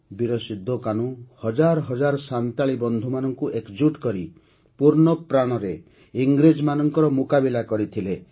ବୀର ସିନ୍ଧୋ କାହ୍ନୁ ହଜାର ହଜାର ସାନ୍ତାଳୀ ବନ୍ଧୁମାନଙ୍କୁ ଏକଜୁଟ କରି ପୂର୍ଣ୍ଣପ୍ରାଣରେ ଇଂରେଜମାନଙ୍କ ମୁକାବିଲା କରିଥିଲେ